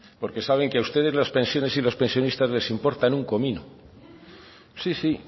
porque saben que a ustedes las pensiones y los pensionistas les importan un comino sí sí